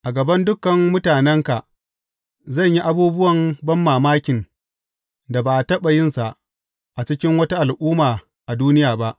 A gaban dukan mutanenka zan yi abubuwan banmamakin da ba a taɓa yinsa a cikin wata al’umma a duniya ba.